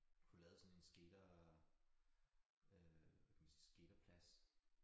Få lavet sådan en skater øh kan man sige skaterplads